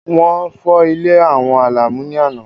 Wọ́n fọ́ ilé àwọn Àlàmú ní àná.